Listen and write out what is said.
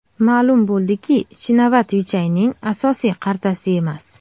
Ma’lum bo‘ldiki, Chinavat Vichayning asosiy qartasi emas.